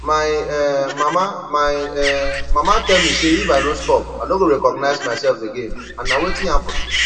my um mama my um mama tell me say if i no stop i no go recognize myself again and na wetin happen